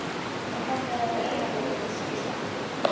Og hvernig er að vera einn með sex stelpum?